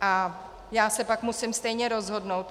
A já se pak musím stejně rozhodnout.